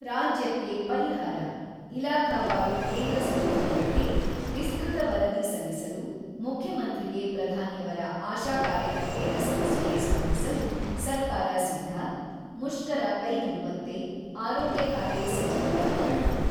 ರಾಜ್ಯಕ್ಕೆ ಪರಿಹಾರ ; ಇಲಾಖಾವಾರು ಕೇಂದ್ರ ಸಚಿವರುಗಳಿಗೆ ವಿಸ್ಕೃತ ವರದಿ ಸಲ್ಲಿಸಲು, ಮುಖ್ಯಮಂತ್ರಿಗೆ ಪ್ರಧಾನಿಯವರ ಆಶಾ ಕಾರ್ಯಕರ್ತೆಯರ ಸಮಸ್ಯೆಗೆ ಸ್ಪಂದಿಸಲು ಸರ್ಕಾರ ಸಿದ್ಧ ; ಮುಷ್ಕರ ಕೈಬಿಡುವಂತೆ, ಆರೋಗ್ಯ ಖಾತೆ ಸಚಿವರ ಮನವಿ.